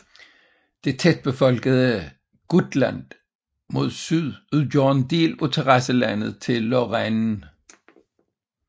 Det tætbefolkede Gutland mod syd udgør en del af terrasselandet til Lorraine